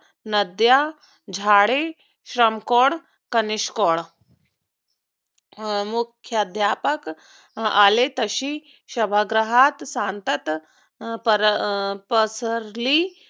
नद्या, झाडे श्रम code कनिश code अं मुख्याद्यापक आले तसे सभागृहात शांतता परपसरली.